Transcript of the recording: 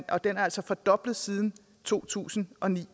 og den er altså fordoblet siden to tusind og ni